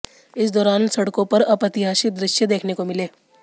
इस दौरान सड़कों पर अप्रत्याशित दृश्य देखने को मिले